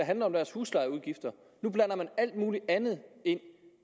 handler om deres huslejeudgifter nu blander man alt muligt andet ind